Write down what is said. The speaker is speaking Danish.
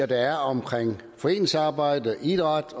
der er omkring foreningsarbejde idræt